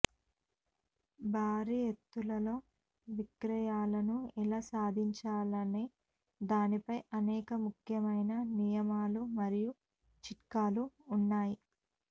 భారీ ఎత్తులలో విక్రయాలను ఎలా సాధించాలనే దానిపై అనేక ముఖ్యమైన నియమాలు మరియు చిట్కాలు ఉన్నాయి